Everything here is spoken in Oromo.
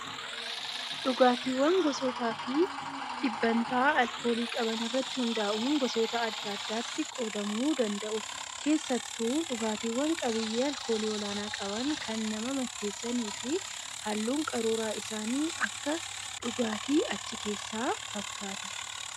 Dhugaatiiwwan gosootaa fi dhibbantaa alkoolii qaban irratti hundaa'uun gosoota adda addaatti qoodamuu danda'u. Keessattuu dhugaatiiwwan qabiyyee alkoolii olaanaa qaban kan nama macheessanii fi halluun qaruuraa isaanii Akka dhugaatii achi keessaa fakkaata.